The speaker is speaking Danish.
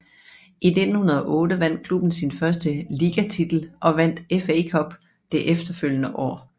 I 1908 vandt klubben sin første ligatitel og vandt FA Cup det efterfølgende år